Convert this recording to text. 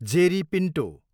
Jerry Pinto